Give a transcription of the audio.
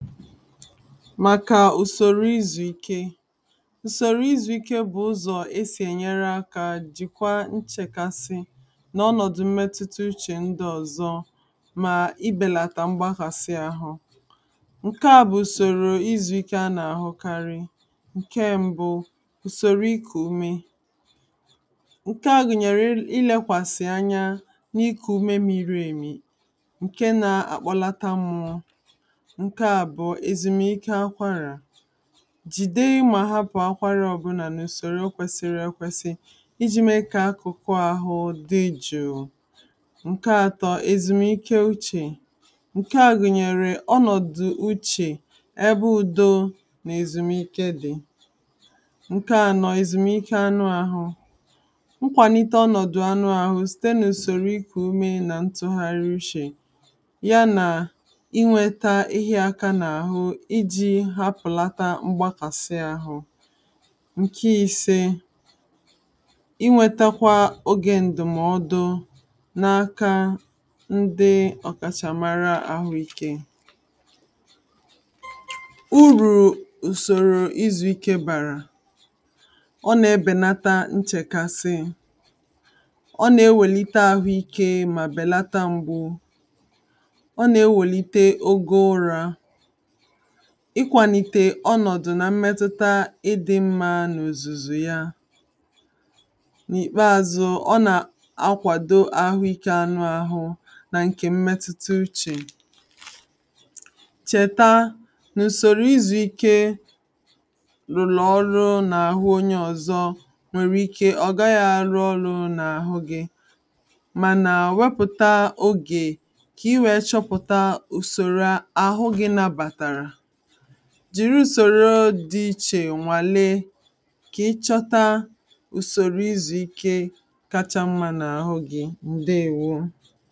ǹdééwó màkà ùsòrò izùike ùsòrò izùike bụ̀ ụzọ̀ esì ènyere aka jìkwaa nchèkasi n'ọnọ̀dụ̀ mmetụta uchè ndịọ̀zọ mà ibèlàtà mgbakasị ahụ ǹke ā bụ̀ ùsòrò izùike anà-àhụkarị ǹke mbụ ùsòrò ikù ume ǹke a gụnyere ilekwàsì anya n'iku ume miri èmì ǹke na-akpọlata mmụọ ǹke àbụ̀ọ èzùmiike akwarà jìde mà hapụ akwara ọbụlà n'ùsòrò kwesiri ekwesi iji mee kà akụkụ ahụ dị jụ̀ụ̀ ǹke atọ èzùmiiké ochie ǹke gụnyere ọnọ̀dụ̀ uchè ebe udo nà èzùmiiké dị̀ ǹke anọ èzùmiike anụ ahụ nkwàlite ọnọ̀dụ̀ anụ ahụ si n'usòrò kùmé na ntọgharị uche ya na inweta ihe aka n'ahụ iji hapụlata mgbakasị ahụ nke ise inwetakwa oge ǹdʊ̀mọ́ọ́dụ n'aka ndị ọkàchàmara àhụike uru ùsòrò izùike bàrà ọ na-ebèlata nchèkasị ọ na-ewelite ahụike mà bèlata ngwụ́ ọ na-ewelite ogo ụra íkʷàlíté ɔ́nɔ̀dʊ̀ ná ḿmétʊ́tá ị́dị́ ḿmá nà ùzùzù yá n'ìkpeazụ ọ nà-akwàdo àhụike anụ ahụ nà ǹke mmetụta uchè chèta nà ùsòrò izùike ruru ọrụ n'ahụ onye ọ̀zọ nwèrè ike ọ̀ gaghị àrụ ọrụ n'ahụ gị mana wepụta ogè ka i wee chọpụ̀ta usòrò ahụ gị nabàtàrà jiri usòrò dị́ ichè nwàlee kà ị chọta usòrò izùike kachamma n'ahụ gị ǹdeewo